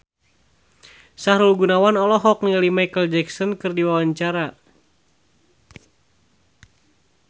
Sahrul Gunawan olohok ningali Micheal Jackson keur diwawancara